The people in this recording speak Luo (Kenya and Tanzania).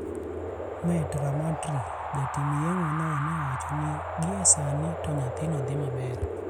Meet Ramatri jatim yeng`ono ne owacho ni gie sani to nyathino dhi maber.